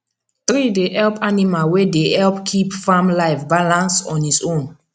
tree dey help animal wey dey help keep farm life balance on its own